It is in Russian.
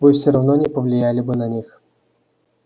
вы всё равно не повлияли бы на них